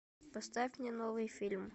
поставь мне новый фильм